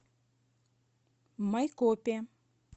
майкопе